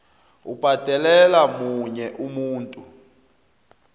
ubhadelela omunye umuntu